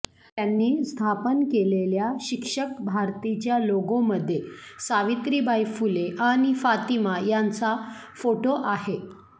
त्यांनी स्थापन केलेल्या शिक्षक भारतीच्या लोगो मध्ये सावित्रीबाई फुले आणि फातिमा यांचा फोटो आहे